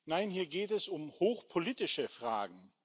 Nein, hier geht es um hochpolitische Fragen.